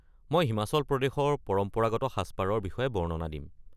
মই হিমাচল প্ৰদেশৰ পৰম্পৰাগত সাজপাৰৰ বিষয়ে বৰ্ণনা দিম।